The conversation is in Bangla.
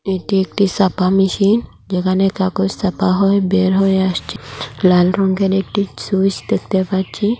এটি একটি সাপা মেশিন যেখানে কাগজ ছাপা হয় বের হয়ে আসছে লাল রংয়ের একটি সুইচ দেখতে পাচ্ছি।